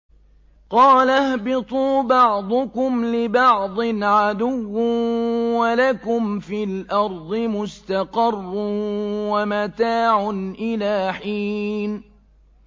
قَالَ اهْبِطُوا بَعْضُكُمْ لِبَعْضٍ عَدُوٌّ ۖ وَلَكُمْ فِي الْأَرْضِ مُسْتَقَرٌّ وَمَتَاعٌ إِلَىٰ حِينٍ